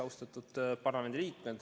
Austatud parlamendiliikmed!